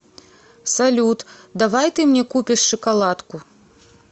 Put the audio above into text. салют давай ты мне купишь шоколадку